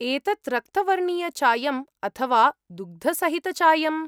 एतत् रक्तवर्णीयचायम् अथवा दुग्धसहितचायम्?